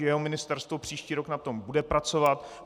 Že jeho ministerstvo příští rok na tom bude pracovat.